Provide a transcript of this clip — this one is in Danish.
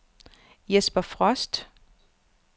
Jesper Frost